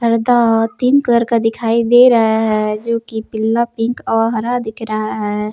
तीन कलर का दिखाई दे रहा है जो कि पीला पिंक और हरा दिख रहा है।